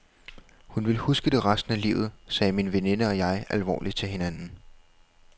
Hun vil huske det resten af livet, sagde min veninde og jeg alvorligt til hinanden.